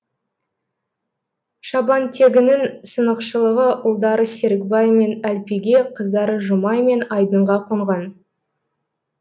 шабантегінің сынықшылығы ұлдары серікбай мен әлпиге қыздары жұмай мен айдынға қонған